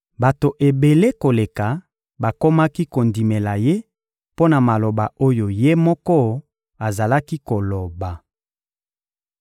Bato ebele koleka bakomaki kondimela Ye mpo na maloba oyo Ye moko azalaki koloba.